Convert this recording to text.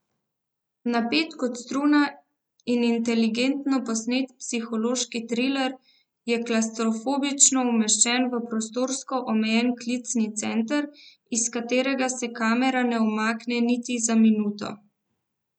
Napet kot struna in inteligentno posnet psihološki triler je klavstrofobično umeščen v prostorsko omejen klicni center, iz katerega se kamera ne umakne niti za minuto.